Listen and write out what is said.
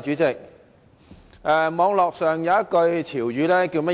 主席，網絡上有一句廣東話潮語："